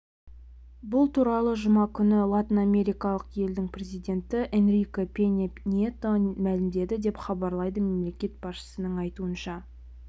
бұл туралы жұма күні латынамерикалық елдің президенті энрике пеньа нието мәлімдеді деп хабарлайды мемлекет басшысының айтуынша